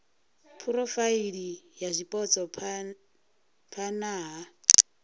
phurofaili ya zwipotso phana ha